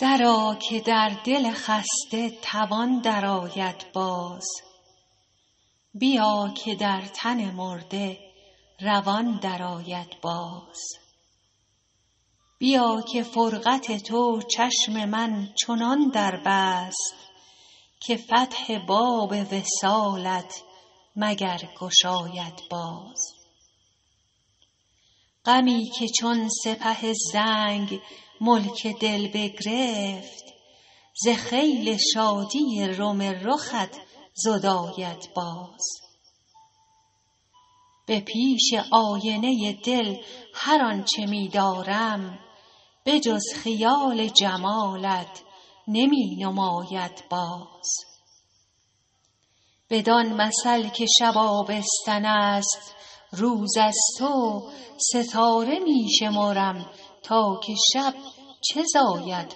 درآ که در دل خسته توان درآید باز بیا که در تن مرده روان درآید باز بیا که فرقت تو چشم من چنان در بست که فتح باب وصالت مگر گشاید باز غمی که چون سپه زنگ ملک دل بگرفت ز خیل شادی روم رخت زداید باز به پیش آینه دل هر آن چه می دارم به جز خیال جمالت نمی نماید باز بدان مثل که شب آبستن است روز از تو ستاره می شمرم تا که شب چه زاید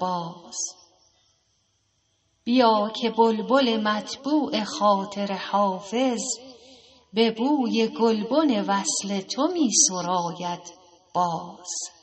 باز بیا که بلبل مطبوع خاطر حافظ به بوی گلبن وصل تو می سراید باز